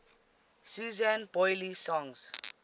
susan boyle songs